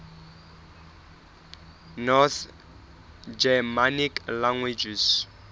north germanic languages